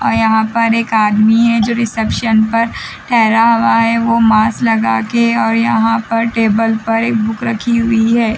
ओ यहाँ पर एक आदमी है जो रिसेप्शन पर ठहरा हुआ है वो मास्क लगा के और यहाँ पर टेबल पर एक बुक रखी हुई है।